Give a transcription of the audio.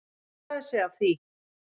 Hann montaði sig af því